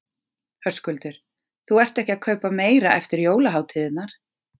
Höskuldur: Þú ert ekki að kaupa meira eftir jólahátíðirnar?